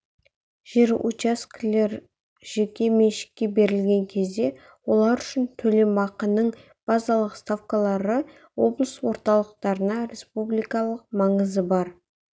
жер учаскелер жеке меншікке берілген кезде олар үшін төлемақының базалық ставкалары облыс орталықтарында республикалық маңызы бар